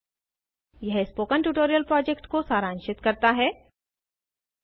httpspoken tutorialorgWhat is a Spoken tutorial यह spoken tutorial project को सारांशित करता है